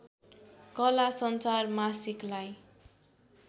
कला संसार मासिकलाई